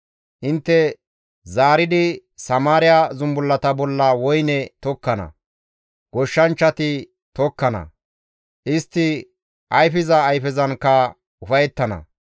Intte zaaridi Samaariya zumbullata bolla woyne tokkana; goshshanchchati tokkana; istti ayfiza ayfezankka ufayettana.